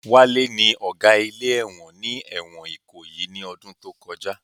Wálé ní Ọ̀gá ilé ẹ̀wọ̀n ní ẹ̀wọ̀n Ìkòyí ní ọdún tó kọjá